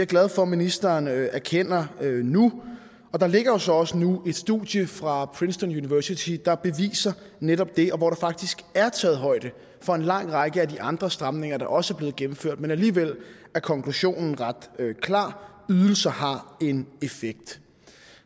glad for at ministeren erkender nu og der ligger jo så også nu et studie fra princeton university der beviser netop det og hvor der faktisk er taget højde for en lang række af de andre stramninger der også er blevet gennemført men alligevel er konklusionen ret klar ydelser har en effekt